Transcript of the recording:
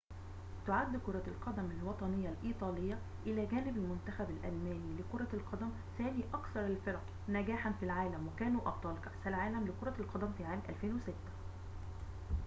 تعد كرة القدم الوطنية الإيطالية إلى جانب المنتخب الألماني لكرة القدم ثاني أكثر الفرق نجاحاً في العالم وكانوا أبطال كأس العالم لكرة القدم في عام 2006